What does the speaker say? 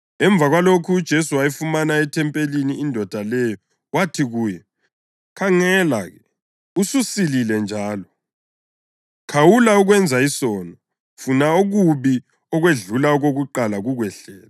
Emva kwalokho uJesu wayifumana ethempelini indoda leyo wathi kuyo, “Khangela-ke ususilile njalo. Khawula ukwenza isono funa okubi ukwedlula okokuqala kukwehlele.”